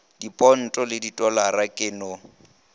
diponto le didollar ke no